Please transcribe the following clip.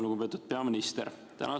Lugupeetud peaminister!